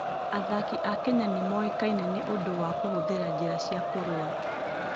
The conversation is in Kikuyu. Athaki a Kenya nĩ moĩkaine nĩ ũndũ wa kũhũthĩra njĩra cia kũrũa.